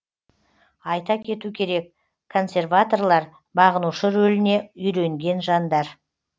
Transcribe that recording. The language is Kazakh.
айта кету керек консерваторлар бағынушы рөліне үйренген жандар